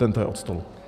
Tento je od stolu.